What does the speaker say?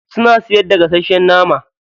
Suna siyar da gasasshen nama.